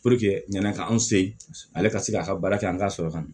ɲani k'an se ale ka se k'a ka baara kɛ an ka sɔrɔ kan na